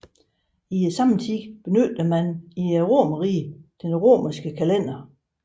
I samtiden benyttede man i Romerriget den romerske kalender